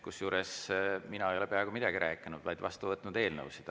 Kusjuures mina ei ole peaaegu midagi rääkinud, vaid vastu võtnud eelnõusid.